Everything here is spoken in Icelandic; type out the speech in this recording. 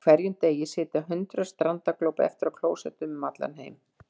Á hverjum degi sitja hundruð strandaglópa eftir á klósettum út um allan heim.